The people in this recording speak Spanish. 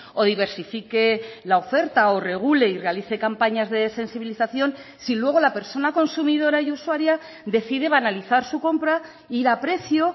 o diversifique la oferta o regule y realice campañas de sensibilización si luego la persona consumidora y usuaria decide banalizar su compra ir a precio